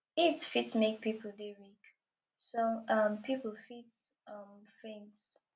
heat fit make pipo dey weak some um pipo fit um faint